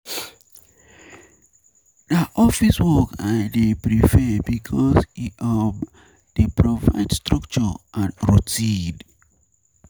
Na office work I dey prefer because e um dey provide structure and.